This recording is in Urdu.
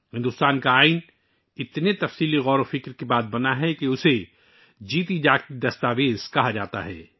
بھارت کا دستور اس قدر غور و فکر کے بعد وجود میں آیا ہے کہ اسے ایک زندہ دستاویز کہا جاتا ہے